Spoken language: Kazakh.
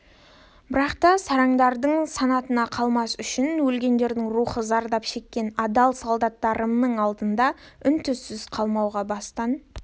бірақ та сараңдардың санатында қалмас үшін өлгендердің рухы зардап шеккен адал солдаттарымның алдында үн-түнсіз қалмауға бастан